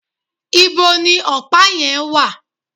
íbo ni ọ̀pá yẹn wà?